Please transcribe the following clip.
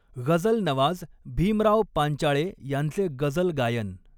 ग़झलनवाज भीमराव पांचाळे यांचे गझल गायन.